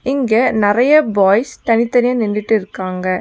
இங்க நெறையா பாய்ஸ் தனித்தனியா நின்டுட்டு இருக்காங்க.